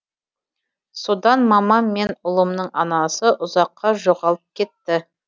содан мамам мен ұлымның анасы ұзаққа жоғалып кетті